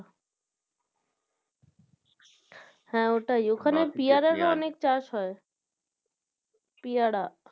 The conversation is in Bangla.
হ্যাঁ ওটাই ওখানে পিয়ারার ও অনেক চাষ হয় পিয়ারা।